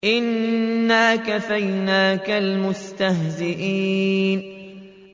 إِنَّا كَفَيْنَاكَ الْمُسْتَهْزِئِينَ